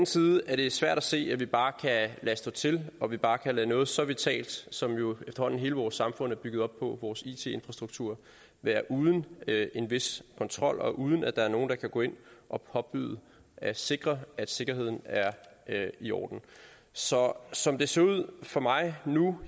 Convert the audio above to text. side er det svært at se at vi bare kan lade stå til og vi bare kan lade noget så vitalt som jo efterhånden hele vores samfund er bygget op på nemlig vores it infrastruktur være uden en vis kontrol og uden at der er nogen der kan gå ind og påbyde at sikre at sikkerheden er i orden så som det ser ud for mig nu